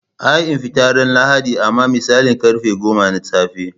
Ai ina fita ran lahadi amma misalin karfe goma na tsafe.